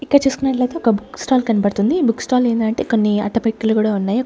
ఇక్క చూసుకున్నట్లయితే ఒక బుక్ స్టాల్ కన్పడ్తుంది ఈ బుక్ స్టాల్ ఏందంటే కొన్నీ అట్టపెట్టలు గుడా ఉన్నాయి.